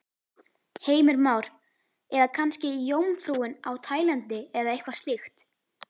Heimir Már: Eða kannski Jómfrúin á Tælandi eða eitthvað slíkt?